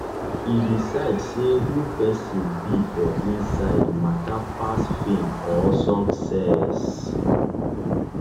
e decide say who person be for inside matter pass fame or success.